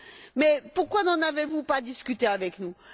Mais pourquoi n'en avez vous pas discuté avec nous?